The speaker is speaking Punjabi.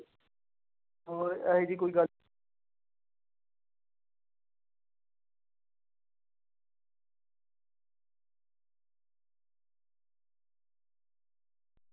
ਹੋਰ ਇਹ ਜਿਹੀ ਕੋਈ ਗੱਲ।